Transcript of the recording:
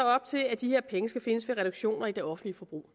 op til at de her penge skal findes ved reduktioner i det offentlige forbrug